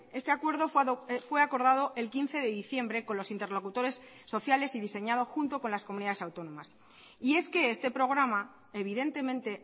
este acuerdo fue acordado el quince de diciembre con los interlocutores sociales y diseñado junto con las comunidades autónomas y es que este programa evidentemente